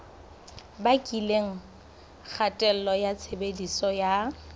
bakileng kgatello ya tshebediso ya